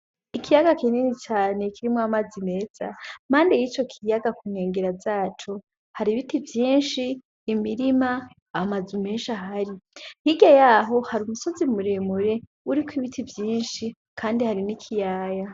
Ikiyaga kinini cane kirimwo amazi meza. Impande y'ico kiyaga ku nkengera zaco hari ibiti vyinshi, imirima, amazu menshi ahari. Hirya yaho hari umusozi muremure uriko ibiti vyinshi kandi hari n'ikiyaya.